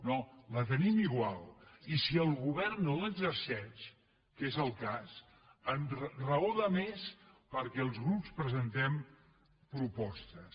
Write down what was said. no la tenim igual i si el go·vern no l’exerceix que és el cas raó de més perquè els grups presentem propostes